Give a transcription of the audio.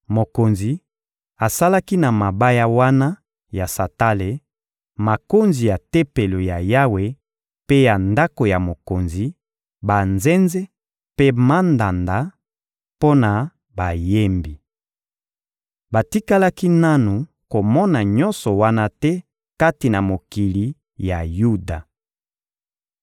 Mokonzi asalaki na mabaya wana ya santale makonzi ya Tempelo ya Yawe mpe ya ndako ya mokonzi, banzenze mpe mandanda mpo na bayembi. Batikalaki nanu komona nyonso wana te kati na mokili ya Yuda.